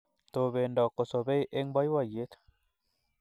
Tobendo kosobei eng boiboiyet